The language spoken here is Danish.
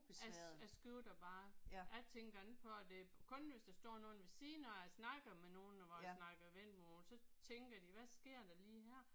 Jeg jeg skifter bare. Jeg tænker ikke på at det kun hvis der står nogen ved siden når jeg snakker med nogen hvor jeg snakker vendelbomål. Så tænker de hvad sker der lige her